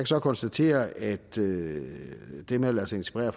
så konstatere at det det med at lade sig inspirere